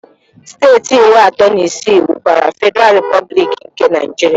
Steeti iri atọ na isii wubere Fediral Replublik nke Naijiria